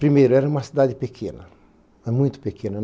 Primeiro, era uma cidade pequena, é muito pequena.